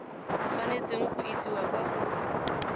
tshwanetseng go isiwa kwa go